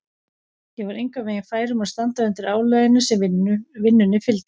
Ég var engan veginn fær um að standa undir álaginu sem vinnunni fylgdi.